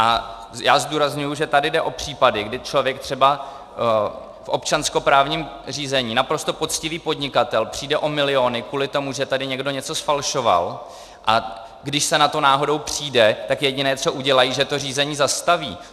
A já zdůrazňuji, že tady jde o případy, kdy člověk třeba v občanskoprávním řízení, naprosto poctivý podnikatel, přijde o miliony kvůli tomu, že tady někdo něco zfalšoval, a když se na to náhodou přijde, tak jediné, co udělají, že to řízení zastaví.